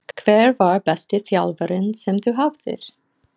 Hver var besti þjálfarinn sem þú hafðir?